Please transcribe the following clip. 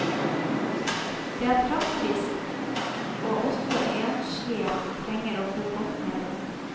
Det er praktisk, og også enslige trenger å bo godt, mener hun.